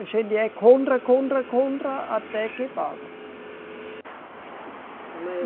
A gente é contra, contra, contra, até que pagam.